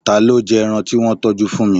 Ta ló jẹ ẹran tí wọ́n tọjú fún mi?